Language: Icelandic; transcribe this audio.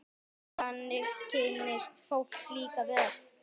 Þannig kynnist fólk líka vel.